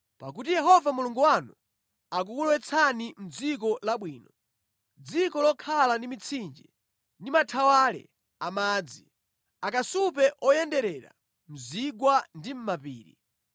Pakuti Yehova Mulungu wanu akukulowetsani mʼdziko labwino, dziko lokhala ndi mitsinje ndi mathawale a madzi, akasupe oyenderera mu zigwa ndi mʼmapiri,